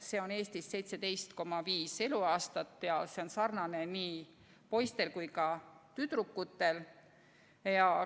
See on Eestis 17,5 eluaastat ja see on sarnane nii poistel kui ka tüdrukutel.